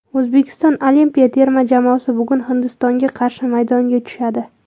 O‘zbekiston olimpiya terma jamoasi bugun Hindistonga qarshi maydonga tushadi.